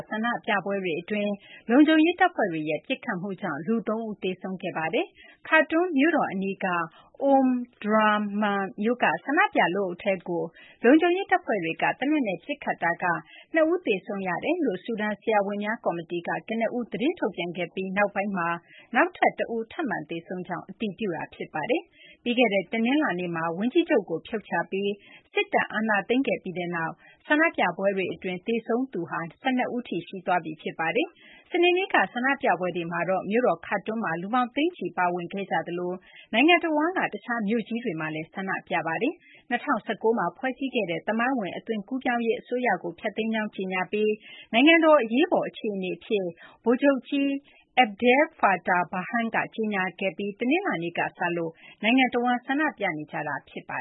ဆန္ဒပြပွဲတွေအတွင်း လုံခြုံရေးတပ်ဖွဲ့တွေရဲ့ ပစ်ခတ်မှုကြောင့် လူ ၃ ဦး သေဆုံးခဲ့ရပါတယ်။ Khartoum မြို့တော်အနီးက Omdurman မြို့က ဆန္ဒပြလူအုပ်ထဲကို လုံခြုံရေး တပ်ဖွဲ့တွေက သေနတ်နဲ့ ပစ်ခတ်ရာက ၂ ဦး သေဆုံးကြောင်း ဆူဒန် ဆရာဝန်များ ကော်မတီက ကနဦး သတင်းထုတ်ပြန်ခဲ့ပြီး နောက်ပိုင်းမှာတော့ နောက်ထပ်တဦး ထပ်မံသေဆုံးကြောင်း အတည်ပြုခဲ့ပါတယ်။ ပြီးခဲ့တဲ့ တနင်္လာနေ့မှာ ဝန်ကြီးချုပ်ကို ဖြုတ်ချပြီး စစ်တပ် အာဏာသိမ်းခဲ့ပြီးနောက် ဆန္ဒပြပွဲတွေအတွင်း သေဆုံးသူ ၁၂ ဦးထိ ရှိသွားပြီ ဖြစ်ပါတယ်။ စနေနေ့က ဆန္ဒပြပွဲတွေမှာတော့ မြို့တော် Khartoum မှာ လူပေါင်း သိန်းချီ ပါဝင်ခဲ့ကြသလို နိုင်ငံတဝန်းက တခြား မြို့ကြီးတွေမှာလည်း ဆန္ဒပြခဲ့ကြပါတယ်။ ၂၀၁၉ မှာ ဖွဲ့စည်းခဲ့တဲ့ သမိုင်းဝင် အသွင်ကူးပြောင်းရေး အစိုးရကို ဖျက်သိမ်းကြောင်း ကြေညာပြီး နိုင်ငံတော် အရေးပေါ်အခြေအနေအဖြစ် ဗိုလ်ချုပ်ကြီး Abdel-Fattah Burhan က ကြေညာခဲ့တဲ့ တနင်္လာနေ့ကစလို့ ဆန္ဒပြနေကြတာ ဖြစ်ပါ